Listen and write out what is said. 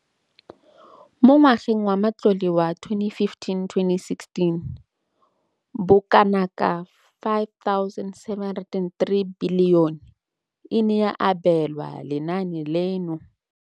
Mo ngwageng wa matlole wa 2015,16, bokanaka R5 703 bilione e ne ya abelwa lenaane leno.